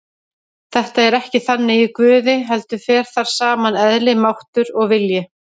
Þetta er ekki þannig í Guði heldur fer þar saman eðli, máttur og vilji.